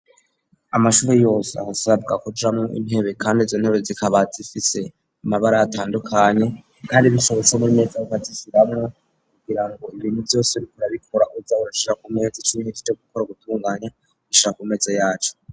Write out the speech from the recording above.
Amashuri yose asabwa kujamwo intebe kandi izontebe zikaba zifise umabara atandukanye kandi bishobotse n'imeza bakazishiramwo kugira ngo ibintu vyose uriko urabikora uje urashisa ku meza ico uhejeje gukora gutunganya ushira ku meze yaco.